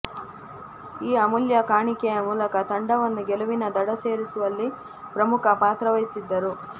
ಈ ಅಮೂಲ್ಯ ಕಾಣಿಕೆಯ ಮೂಲಕ ತಂಡವನ್ನು ಗೆಲುವಿನ ದಡ ಸೇರಿಸುವಲ್ಲಿ ಪ್ರಮುಖ ಪಾತ್ರವಹಿಸಿದ್ದರು